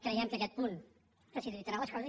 creiem que aquest punt facilitarà les coses